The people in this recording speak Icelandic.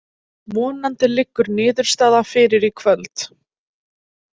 Vonandi liggur niðurstaða fyrir í kvöld.